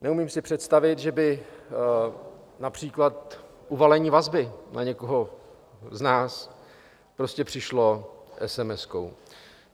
Neumím si představit, že by například uvalení vazby na někoho z nás prostě přišlo esemeskou.